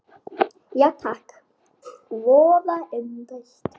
Já takk, voða indælt